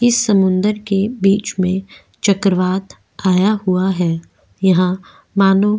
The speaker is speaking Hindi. इस समुंदर के बीच में चक्रवात आया हुआ है यहां मानो --